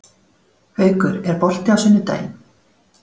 Haukur, er bolti á sunnudaginn?